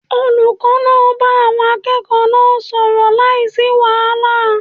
Olùkó náà bá àwon akẹ́ẹ̀kọ̀ọ́ náà sò ọ̀rọ̀ láìsí wàhálà